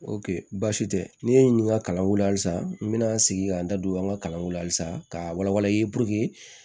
baasi tɛ n'i ye n ɲininka kalanko la halisa n bɛna n sigi k'an da don an ka kalanko la halisa ka wala wala i ye puruke